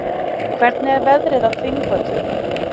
hvernig er veðrið á þingvöllum